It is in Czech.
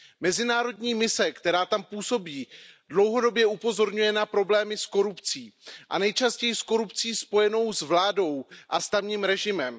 Mezinárodní mise, která tam působí, dlouhodobě upozorňuje na problémy s korupcí a nejčastěji s korupcí spojenou s vládou a s tamním režimem.